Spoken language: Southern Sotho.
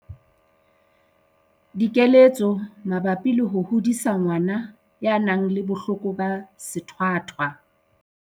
Dikeletso mabapi le ho hodisa ngwana ya nang le bohloko ba sethwathwa.